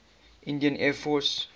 indian air force